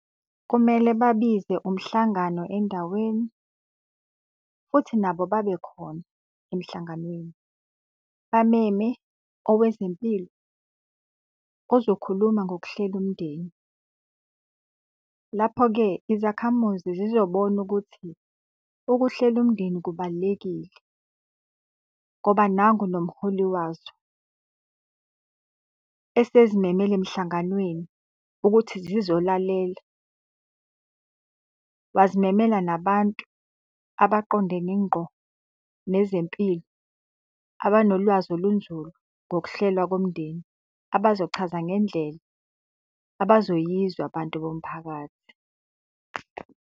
Kumele babize umhlangano endaweni, futhi nabo babe khona emhlanganweni. Bameme owezempilo ozokhuluma ngokuhlela umndeni. Lapho-ke, izakhamuzi zizobona ukuthi ukuhlela umndeni kubalulekile ngoba nangu nomholi wazo esezimemele emhlanganweni ukuthi zizolalela. Wazimemela nabantu abaqondene ngqo nezempilo, abanolwazi olunzulu ngokuhlelwa komndeni, abazochaza ngendlela abazoyizwa abantu bomphakathi.